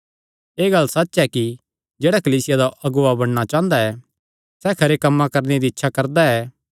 एह़ गल्ल सच्च ऐ कि जेह्ड़ा कलीसिया दा अगुआ बणना चांह़दा ऐ सैह़ खरे कम्मां करणे दी इच्छा करदा ऐ